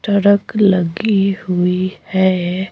Truck लगी हुई है।